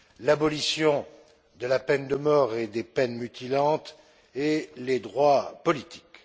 l'abolition de la peine de mort et des peines mutilantes et les droits politiques.